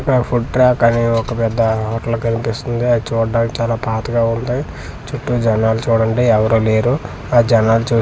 ఇక్కడ food track అనే ఒక పెద్ద హోటల్ కనిపిస్తుంది అది చూడటానికి చాలా పాతగా ఉంది చుట్టూ జనాలు చూడండి ఎవ్వరు లేరు ఆ జనాలు చూస్తుంటే అవ్--